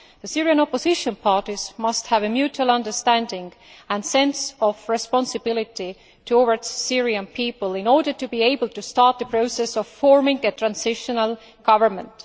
The Syrian opposition parties must have a mutual understanding and a sense of responsibility towards the Syrian people in order to be able to start the process of forming a transitional government.